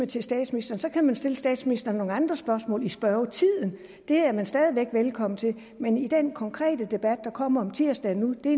til statsministeren så kan man stille statsministeren nogle andre spørgsmål i spørgetiden det er man stadig væk velkommen til men i den konkrete debat der kommer om tirsdagen nu er